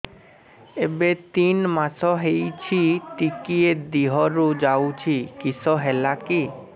ଏବେ ତିନ୍ ମାସ ହେଇଛି ଟିକିଏ ଦିହରୁ ଯାଉଛି କିଶ ହେଲାକି